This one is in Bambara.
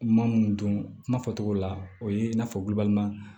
Maa mun dun kuma fɔ togo la o ye i n'a fɔ